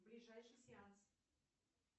ближайший сеанс